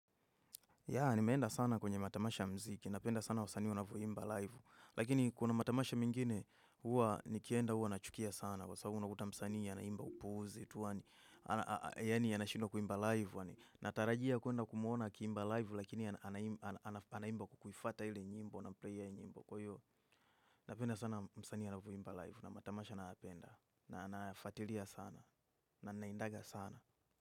Ya, nimeenda sana kwenye matamasha mziki. Napenda sana wasanii wanavyoimba live. Lakini kuna matamasha mengine, huwa nikienda huwa nachukia sana. Kwa sababu unakuta msani anaimba upuuzi, tu wa ni. Yani, anashindwa kuimba live. Natarajia kuenda kumuona akiimba live, lakini anaimba kukufata ili nyimbo, na player ili nyimbo. Kwa hivyo, napenda sana msanii anavyoimba live. Na matamasha nayapenda. Na nayafuatilia sana. Na naendaga sana.